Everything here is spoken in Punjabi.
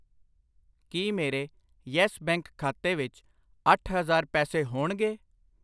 ਕਿ ਮੇਰੇ ਯੈੱਸ ਬੈਂਕ ਖਾਤੇ ਵਿੱਚ ਅੱਠ ਹਜ਼ਾਰ ਪੈਸੇ ਹੋਣਗੇ ?